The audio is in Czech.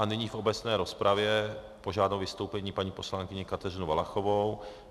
A nyní v obecné rozpravě požádám o vystoupení paní poslankyni Kateřinu Valachovou.